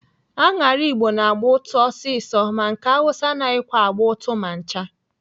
Aṅara Igbo na-agba ụtụ ọsịsọ ma nke Awụsa anaghịkwa agba ụtụ ma ncha.